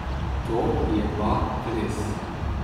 To je pa res.